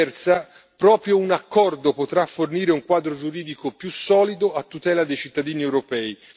Viceversa, proprio un accordo potrà fornire un quadro giuridico più solido a tutela dei cittadini europei.